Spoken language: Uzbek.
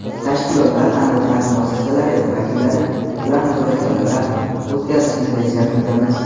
tashkilotlar hamda ta’lim muassasalari vakillari bilan muzokaralar o‘tkazishni reja qilganmiz.